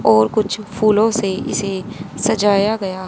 और कुछ फूलों से इसे सजाया गया--